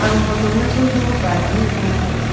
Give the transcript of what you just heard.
aga photo ma cho cho ma bat ani jaw ngan taiga.